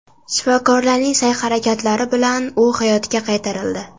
Shifokorlarning sa’y-harakatlari bilan u hayotga qaytarildi.